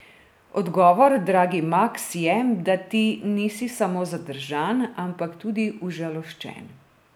Odgovor, dragi Maks, je, da ti nisi samo zadržan, ampak tudi užaloščen.